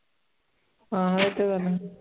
ਹਾਂ ਇਹ ਤੇ ਗੱਲ ਹੈ